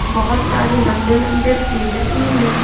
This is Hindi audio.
बहोत सारे लंबे-लंबे पेड़ भी हैं।